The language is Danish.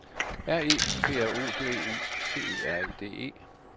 R E P R O D U C E R E D E